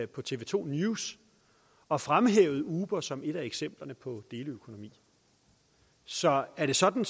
på tv to news og fremhævede uber som et af eksemplerne på deleøkonomi så er det sådan